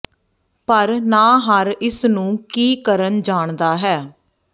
ਪਰ ਨਾ ਹਰ ਇਸ ਨੂੰ ਕੀ ਕਰਨ ਜਾਣਦਾ ਹੈ